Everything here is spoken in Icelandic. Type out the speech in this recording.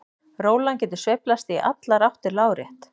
Rólan getur sveiflast í allar áttir lárétt.